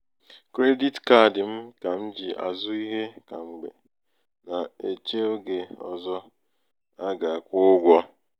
“kredit kaadi m kà m ji àzụ ihe kam̀gbe na-èchè ogè um ọ̀zọ a um gà-àkwụ ụgwọ̄